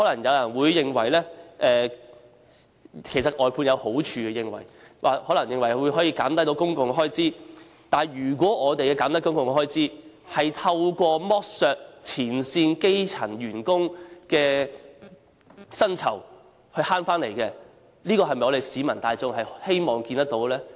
有人或會認為外判有好處，例如可以減低公共開支，但如果減低公共開支是透過剝削前線基層員工的薪酬而達致的，這是否市民大眾希望看見的呢？